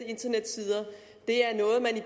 internetsider er noget man i